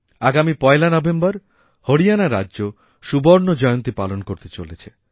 আগামী ১লা নভেম্বর হরিয়ানা রাজ্য সুবর্ণজয়ন্তী পালন করতে চলেছে